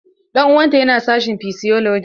Ɗan uwan ta yana sashin physiology.